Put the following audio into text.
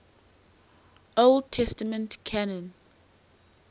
old testament canon